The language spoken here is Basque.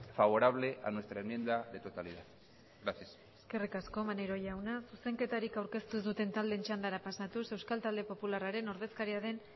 favorable a nuestra enmienda de totalidad gracias eskerrik asko maneiro jauna zuzenketarik aurkeztu ez duten taldeen txandara pasatuz euskal talde popularraren ordezkaria den